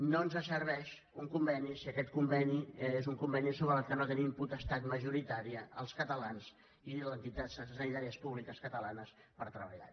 no ens serveix un conveni si aquest conveni és un conveni sobre el qual no tenim potestat majoritària els catalans ni les entitats sanitàries públiques catalanes per treballar